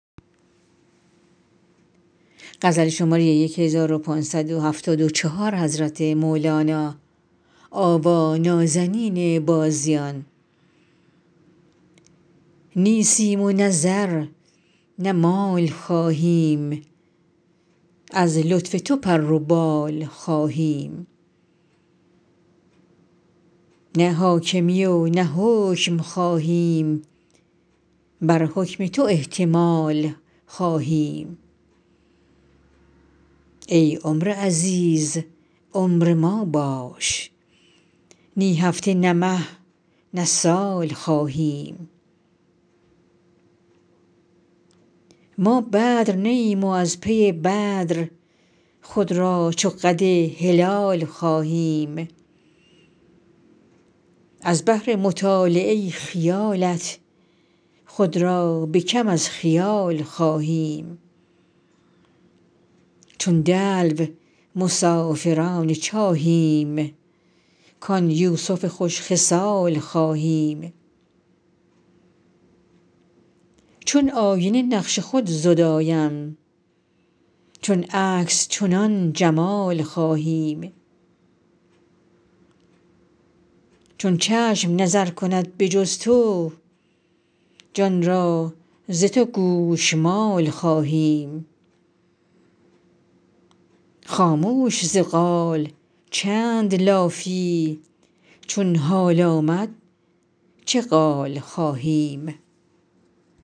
نی سیم و نه زر نه مال خواهیم از لطف تو پر و بال خواهیم نی حاکمی و نه حکم خواهیم بر حکم تو احتمال خواهیم ای عمر عزیز عمر ما باش نی هفته نه مه نه سال خواهیم ما بدر نی ایم و از پی بدر خود را چو قد هلال خواهیم از بهر مطالعه خیالت خود را به کم از خیال خواهیم چون دلو مسافران چاهیم کان یوسف خوش خصال خواهیم چون آینه نقش خود زدایم چون عکس چنان جمال خواهیم چون چشم نظر کند به جز تو جان را ز تو گوشمال خواهیم خاموش ز قال چند لافی چون حال آمد چه قال خواهیم